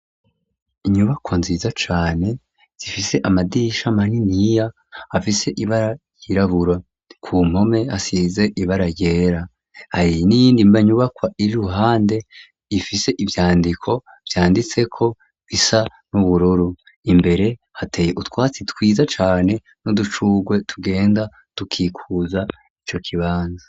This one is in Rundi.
Inyubakwa nziza cane, zifise amadirisha maniniya afise ibara ryirabura, ku mpome hasize ibara ryera, hari niyindi nyubakwa iri ruhande, ifise ivyandiko vyanditseko bisa n'ubururu, imbere hateye utwatsi twiza cane n'udushugwe tugenda dukikuza ico kibanza.